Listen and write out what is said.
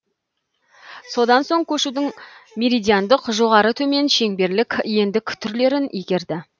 содан соң көшудің меридиандық жоғары төмен шеңберлік ендік түрлерін игерді